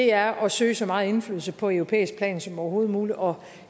er at søge så meget indflydelse på europæisk plan som overhovedet muligt og